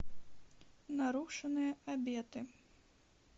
нарушенные обеты